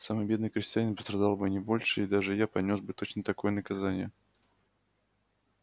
самый бедный крестьянин пострадал бы не больше и даже я понёс бы точно такое наказание